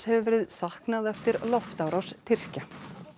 hefur verið saknað eftir loftárás Tyrkja